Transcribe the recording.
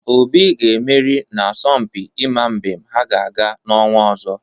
Obi ga-emeri n'asompi ịma mbem ha ga-aga n'ọnwa ọzọ.